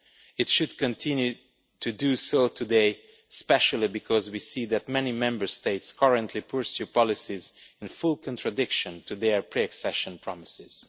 it should continue to do so today, especially because we see that many Member States currently pursue policies in full contradiction of their pre accession promises.